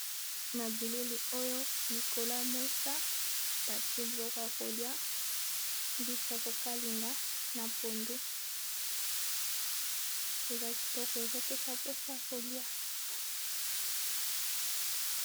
Na bilili oyo likolo ya mesa batie biloko ya kolia mbisi ya kokalinga na pondu eza kitoko ezopesa mposo kolia.